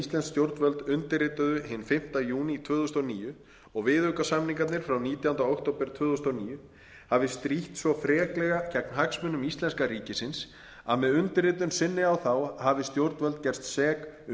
íslensk stjórnvöld undirrituðu hinn fimmti júní tvö þúsund og níu og viðaukasamningarnir frá nítjándu október tvö þúsund og níu hafi strítt svo freklega gegn hagsmunum íslenska ríkisins að með undirritun sinni á þá hafi stjórnvöld gerst sek um